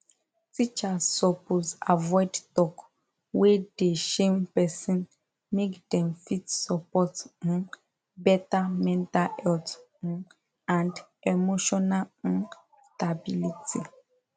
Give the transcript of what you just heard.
teachers suppose avoid talk wey dey shame person make dem fit support um better mental health um and emotional um stability